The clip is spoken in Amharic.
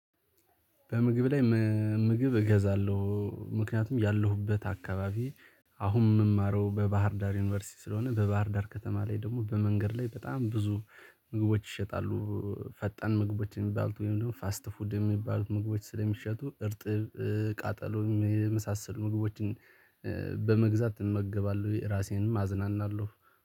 በምግብ ላይ ም ምግብ እገዛለሁ ምክንያቱም ያለሁበት አካባቢ አሁን ምማረው በባህር ዳር ዩኒቨርሲቲ ስለሆነ በባህር ዳር ከተማ ላይ ደግሞ በመንገድ ላይ በጣም ብዙ ምግቦች ይሸጣሉ። ፈጣን ምግቦችን የሚባሉት ወይም ደግሞ ፋስት ፉድ የሚባሉት ምግቦች ስለሚሸጡ እርጥብ ቃጠሎ የመሳሰሉ ምግቦችን በመግዛት እመገባለሁ ራሴንም አዝናናለሁ